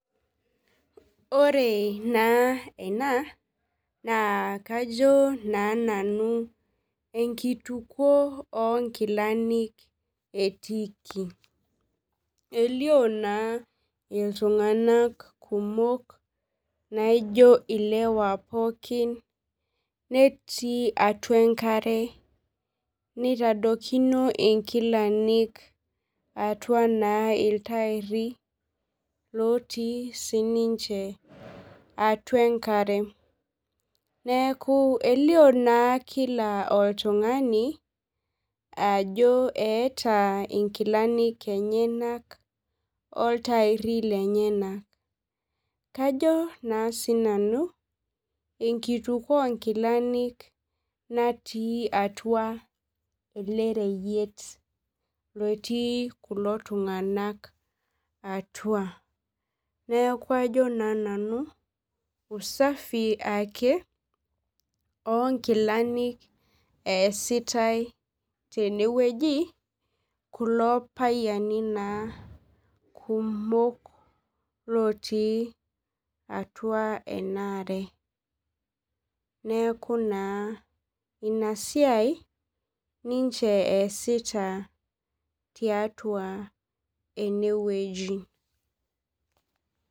Ore na ena na kajo nanu enkituko onkilani etiiki elio na ltunganak kumok naijo ilewa pooki netuu atua enkare nitadokino nkilani atua ltairi lotii sininnche atua enkare neaku elio na kila oltungani ajo eeta nkilani enyenak oltairi lenyenak neaku kajo na sinanu enkituko onkilani natii atua elereyiet otii kulo tunganak atua neaku ajo na nanu usafi onkilani easitae tenewueji kulo payiani kumok otii atua enaare neaku na inasia ninche easita tiatua enewueji.